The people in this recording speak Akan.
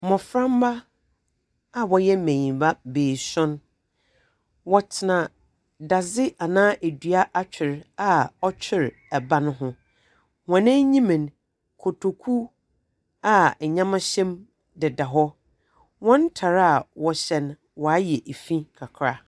Mboframba a wɔyɛ mbanyimba, wɔtena dadze anaa dua atwer a ɔtwer ban ho. Hɔn enyim no, kotoku a ndzɛmba hyɛ mu deda hɔ. Hɔn ntar a wɔhyɛ no ayɛ fi kakra.